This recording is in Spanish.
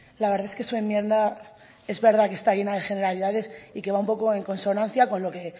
la verdad es que su enmienda es verdad que está llena de generalidades y que va un poco en consonancia con lo que